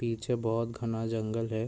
पीछे बोहोत घना जंगल है।